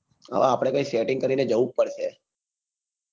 હા આપડે કાંઈ setting કરીને